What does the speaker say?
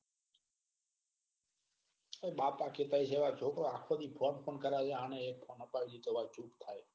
એ બાપા થી પૈસા થી છોકરો આખો દિવસ phone પણ કરે જાય. જાણે એક phone આપવી દીધો હોય તો ચૂપ થાય.